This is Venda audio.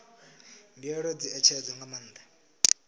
mbuelo dzi ṋetshedzwa nga maanḓa